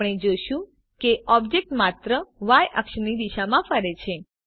આપણે જોશું કે ઓબ્જેક્ટ માત્ર ય અક્ષની દિશામાં ફરે છે